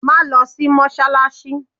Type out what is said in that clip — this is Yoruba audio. Máa lọ sí Mọ́sálásí!